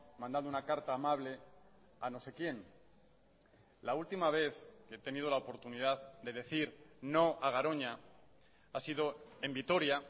mandando una carta amable a no sé quién la última vez he tenido la oportunidad de decir no a garoña ha sido en vitoria